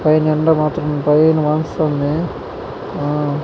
పైన ఎండ మాత్రం భలే మాడుస్తుంది. ఆహ్--